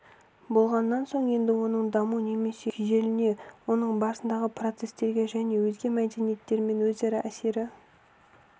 болғаннан соң енді оның даму немесе күйзелуіне оның барысындағы процестерге және өзге мәдениеттермен өзара әсері